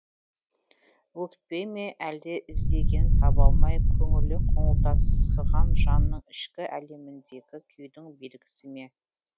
өкпе ме әлде іздегенін таба алмай көңілі қоңылтақсыған жанның ішкі әлеміндегі күйдің белгісі ме